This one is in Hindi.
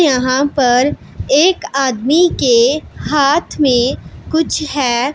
यहां पर एक आदमी के हाथ में कुछ है।